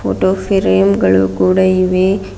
Photo frame ಗಳು ಕೂಡ ಇವೆ.